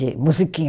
De musiquinha